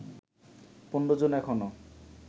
১৫ জন এখনো